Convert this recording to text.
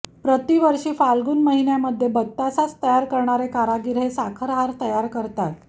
प्रतिवर्षी फ्ढाल्गुन महीन्यामधे बत्तासाच तयार करणारे कारागिर हे साखरहार तयार करतात